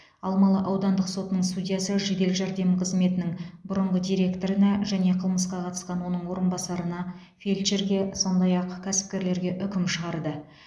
алмалы аудандық сотының судьясы жедел жәрдем қызметінің бұрынғы директорына және қылмысқа қатысқан оның орынбасарына фельдшерге сондай ақ кәсіпкерлерге үкім шығарды